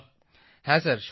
প্রদীপজি হ্যাঁ স্যার